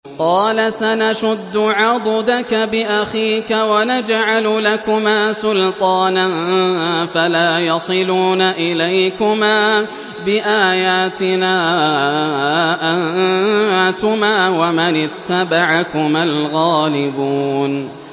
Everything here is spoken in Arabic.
قَالَ سَنَشُدُّ عَضُدَكَ بِأَخِيكَ وَنَجْعَلُ لَكُمَا سُلْطَانًا فَلَا يَصِلُونَ إِلَيْكُمَا ۚ بِآيَاتِنَا أَنتُمَا وَمَنِ اتَّبَعَكُمَا الْغَالِبُونَ